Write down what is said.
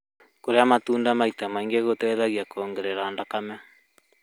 Kũrĩa matunda maita maingĩ gũteithagia kuongerera thakame